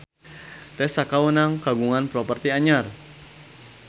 Tessa Kaunang kagungan properti anyar